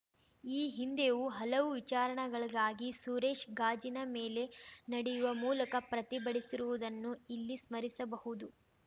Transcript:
ಈ ಹಿಂದೆಯೂ ಹಲವು ವಿಚಾರಣಗಳಿಗಾಗಿ ಸುರೇಶ್‌ ಗಾಜಿನ ಮೇಲೆ ನಡೆಯುವ ಮೂಲಕ ಪ್ರತಿಭಟಿಸಿರುವುದನ್ನು ಇಲ್ಲಿ ಸ್ಮರಿಸಬಹುದು